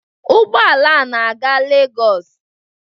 Ụgbọala a na-aga Legos.